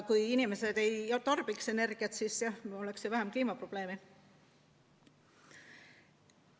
Kui inimesed ei tarbiks energiat, siis jah, meil oleks vähem kliimaprobleeme.